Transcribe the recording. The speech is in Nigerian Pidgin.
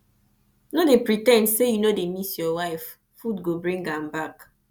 no dey pre ten d say you no dey miss your wife food go bring am back